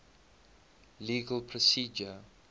legal procedure